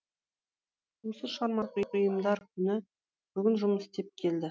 осы шығармашылық ұйымдар күні бүгін жұмыс істеп келді